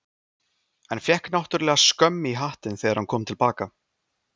En fékk náttúrlega skömm í hattinn þegar hann kom til baka.